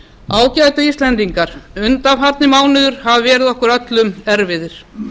ágætu íslendingar undanfarnir mánuðir hafa verið okkur öllum erfiðir